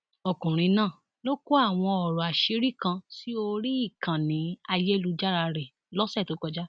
ọkùnrin náà ló kọ àwọn ọrọ àṣírí kan sí orí ìkànnì ayélujára rẹ lọsẹ tó kọjá